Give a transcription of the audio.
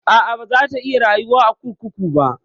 A'a, baza ta iya rayuwa a kurkuku ba.